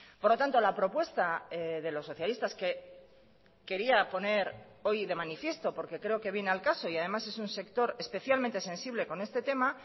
por lo tanto la propuesta de los socialistas que quería poner hoy de manifiesto porque creo que viene al caso y además es un sector especialmente sensible con este tema